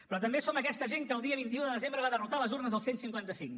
però també som aquesta gent que el dia vint un de desembre va derrotar a les urnes el cent i cinquanta cinc